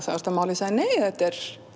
þú ert að mála ég sagði nei þetta er